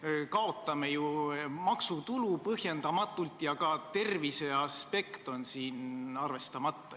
Me kaotame ju maksutulu põhjendamatult ja ka terviseaspekt on siin arvestamata.